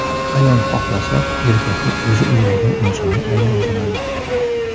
Ayol xohlasa, erkakni o‘zi o‘ylagan insonga aylantiradi.